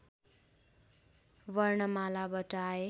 वर्णमालाबाट आए